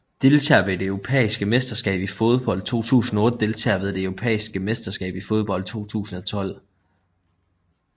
Deltagere ved det europæiske mesterskab i fodbold 2008 Deltagere ved det europæiske mesterskab i fodbold 2012